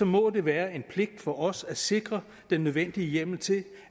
må det være en pligt for os at sikre den nødvendige hjemmel til